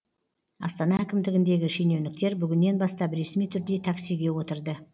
астана әкімдігіндегі шенеуніктер бүгіннен бастап ресми түрде таксиге отырды